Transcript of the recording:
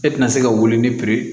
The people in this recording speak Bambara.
E tɛna se ka wuli ni piri ye